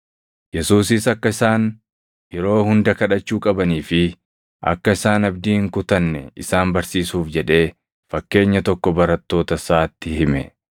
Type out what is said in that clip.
Yesuusis akka isaan yeroo hunda kadhachuu qabanii fi akka isaan abdii hin kutanne isaan barsiisuuf jedhee fakkeenya tokko barattoota isaatti hime.